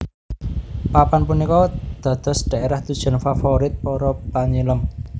Papan punika dados daerah tujuan favorit para panyilem